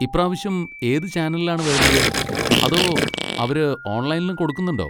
ഇപ്രാവശ്യം ഏത് ചാനലിലാണ് വരുന്നത്? അതോ അവര് ഓൺലൈനിലും കൊടുക്കുന്നുണ്ടോ?